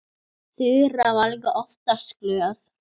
Þura er líka oftast glöð.